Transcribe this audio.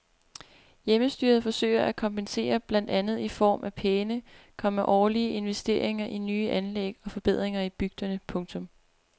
Hjemmestyret forsøger at kompensere blandt andet i form af pæne, komma årlige investeringer i nye anlæg og forbedringer i bygderne. punktum